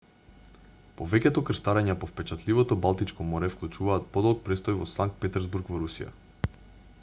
повеќето крстарења по впечатливото балтичко море вклучуваат подолг престој во санкт петерсбург во русија